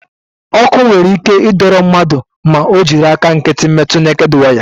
Ọkụ nwere ike ịdọrọ mmadụ ma ọ jiri aka nkịtị metu neked waya.